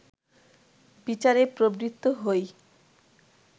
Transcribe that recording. বিচারে প্রবৃত্ত হই